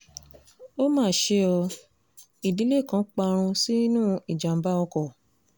ó mà ṣe ọ́ ìdílé kan parun sínú ìjàm̀bá ọkọ̀